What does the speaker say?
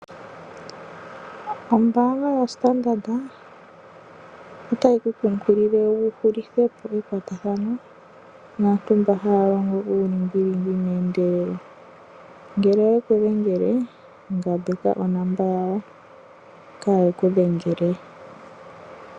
Ombaanga yoStandard otayi ku kunkilile wu hulithe po ekwatathano naantu mboka haya longo uulingilingi, ngele oye ku dhengele ngambeka onomola yawo kaaye ku dhengele we.